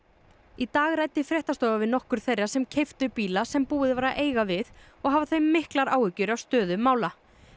í dag ræddi fréttastofa við nokkur þeirra sem keyptu bíla sem búið var að eiga við og hafa þau miklar áhyggjur af stöðu mála